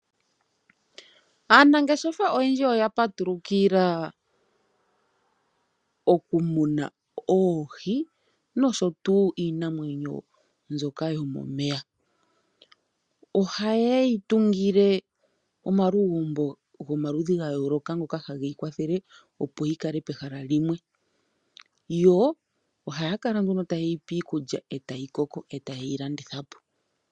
Aanangeshefa oyendji oya patulukila okumuna oohi nosho tuu iinamwenyo mbyoka yomomeya. Ohayeyi tungile omalugumbo gomaludhi ga yooloka ngoka ha geyi kwathele opo yikale pehala limwe . Yo ohaya kala nduno ta yeyipe iikulya ,etayi koko etayeyi landithapo.